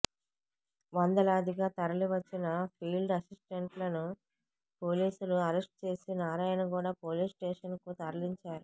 వందలాదిగా తరలివచ్చిన ఫీల్డ్ అసిస్టెంట్లను పోలీసులు అరెస్టు చేసి నారాయణగూడ పోలీస్ స్టేషన్కు తరలించారు